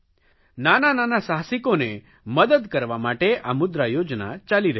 નાના નાના સાહસિકોએ મદદ કરવા માટે આ મુદ્રા યોજના ચાલી રહી છે